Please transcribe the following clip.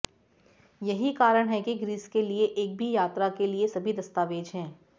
यही कारण है कि ग्रीस के लिए एक यात्रा के लिए सभी दस्तावेजों है